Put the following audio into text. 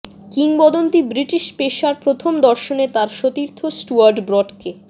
কিংবদন্তি British pacer প্রথম দর্শনে তাঁর সতীর্থ স্টুয়ার্ট ব্রডকে